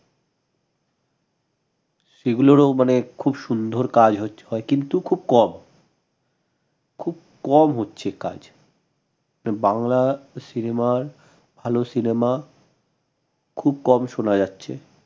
সেগুলোরও মানে খুব সুন্দর কাজ হয়ে~হয় কিন্তু খুব কম খুব কম হচ্চে কাজ বাংলা cinema র ভাল cinema খুব কম শোনা যাচ্ছে